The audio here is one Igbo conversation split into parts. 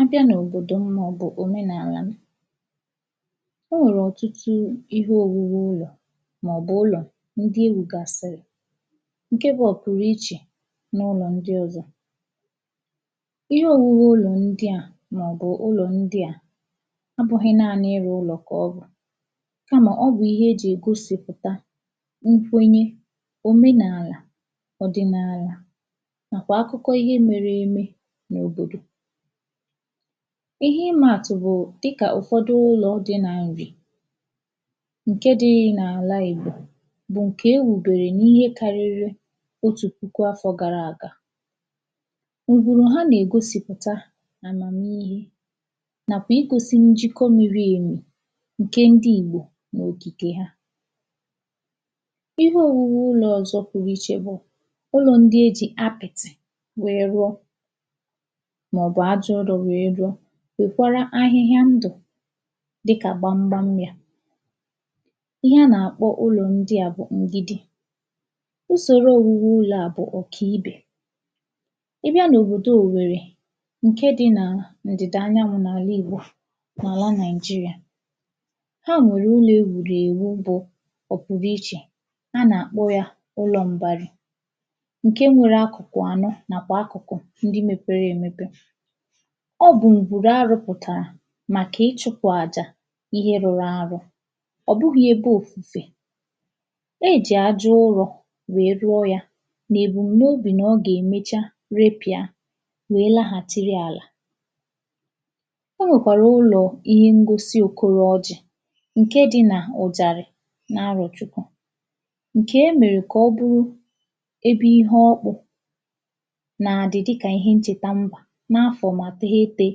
abịa n’òbòdò m màọbụ òmenàlà o nwèrè ọ̀tụtụ ihe òriri m mmà màọbụ̀ ụlọ̀ ndị erùgàsìrì ǹke bụ ọ̀ p̣rụ ichè n’’ụlọ̀ ndị ọ̀zọ̀ ihe òmume ụlọ̀ ndị a màọbụ̀ ụlọ̀ ndị a ọ bụ̄ ihe naanị ịrụ ụlọ̀ kà ọ bụ̀ ị mà ọ bụ̀ ihe ejì ègosìpụ̀ta nkwenye òmenàlà ọ̀dị̀nàlà ǹkè akụkọ ihe mere èmi n’òbòdò ihe ịmā àtụ̀ bụ dịkà ụ̀fọdụ ụlọ̄ di n’àlị̀ ǹke dị n’àla ìgbò bụ̀ ǹke ewùbèrè n’ihe karịrị otù pụkụ afọ̄ gara àga ùghùrù ha nà-ègosìpụ̀ta àmàmihe nàkwà igosi njịkọ miri èmì ǹke ndị ìgbò n’òkìkè ha ihe òwuwe ụlọ̄ ọ̀zọ pụrụ iche bụ̀ o nwee ndị ejì apị̀tị̀ wère rụọ màọbụ aja ụrọ̄ wee rụọ wèkwara ahịhịa ndụ̀ dịkà gbamgbam yā ihe a nà-àkpọ ụlọ̀ ndị a bụ̀ ngigi usòro ọ̀gwụgwụ ụlọ̄ a bụ̀ ọ̀kà ibè ịbịa n’òbòo òwerri ǹke dị nà ǹdị̀da Anyanwu n’àla igbò n’àla naịjịrịà ha nwèrè ụlọ e wùrù ewu bụ ọ̀ pụ̀rụ ichè a nà-akpọ yā ụlọ̄ m̀bara ǹke nwere akụ̀ kụ̀ ànọ nàkwà akụ̀kụ̀ ndị mepere èmepe ọ bụ̀ ǹgwùrù a rụpụ̀tàrà màkà ịchụ̄pụ̀ àjà ihe rụrụ àrọ ọ̀ bụghị ebe òfùfe ejì aja ụrọ wee dụọ ya nà èbùm n’obì nà ọ gà-èmecha re pị̀a wee laghàchịrị àlà o nwèkwàrà ụlọ̀ ihe ngosi òkoro oji ǹke di nà òjàrị̀ n'arochukwu ǹke e mèrè kà ọ bụrụ ebe ihē ọkpụ na-adị dịkà ihe nchèta mbà n’afọ̀ màkà ma titī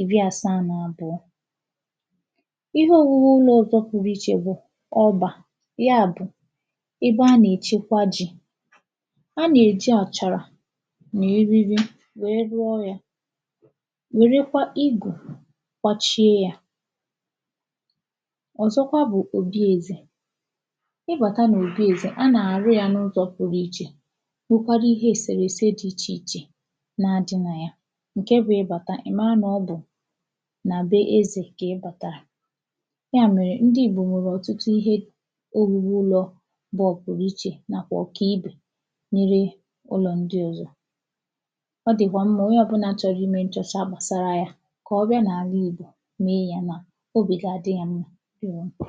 ìri àsaa nà àbụọ ihe òmume ndị ọ̀zi ouru ichè bụ̀ ọgbà ya bụ̀ ebe a nà-èchekwa ji a nà-èji àchàrà n'eriri wee hụọ yā wèrekwa igù kpachie ya ọ̀zọkwa bụ òbi ezè ịbàtà n’òbi ezè a nà-àrụ ya n’ụzọ pụrụ ichè nwekwarụ ihe è sèrè èse di ichè ichè na-adị nà ya ǹke bụ ịbàta ị mara nà ọ bụ̀ nà be ezè kà ị bàtàrà ya mèrè ndị ìgbò nwèrè ọ̀tụtụ ihe owuwu ụlọ̄ bụ ọ̀ pụrụ iche nàkwà ọ kà ibè n’ire ụlọ̀ ndị ọ̀zọ ọ dị̀kwà mmā onye ọ̀bụla chọrọ imē nchọcha bàsara yā kà ọ bịa n’àla ìgbò mee ya na obì ga-adị ya mmā di ya mkpà